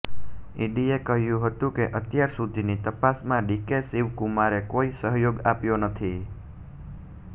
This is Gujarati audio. ઇડીએ કહ્યું હતું કે અત્યારસુધીની તપાસમાં ડીકે શિવકુમારે કોઇ સહયોગ આપ્યો નથી